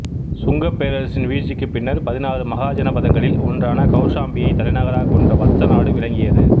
சுங்கப் பேரரசின் வீழ்ச்சிக்குப் பின்னர் பதினாறு மகாஜனபதங்களில் ஒன்றான கௌசாம்பியை தலைநகராகக் கொண்ட வத்சநாடு விளங்கியது